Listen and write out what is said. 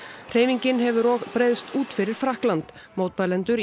hreyfingin hefur og breiðst út fyrir Frakkland mótmælendur